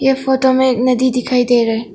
इस फोटो में नदी दिखाई दे रहा है।